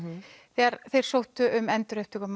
þegar þeir sóttu um endurupptöku á